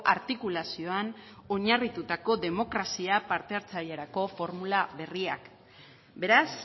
artikulazioan oinarritutako demokrazia parte hartzailerako formula berriak beraz